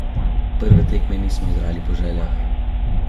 Prve tekme nismo igrali po željah.